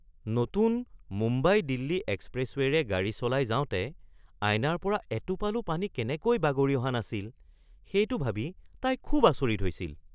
নতুন মুম্বাই-দিল্লী এক্সপ্ৰেছৱে'ৰে গাড়ী চলাই যাওঁতে আইনাৰ পৰা এটোপালো পানী কেনেকৈ বাগৰি অহা নাছিল সেইটো ভাবি তাই খুব আচৰিত হৈছিল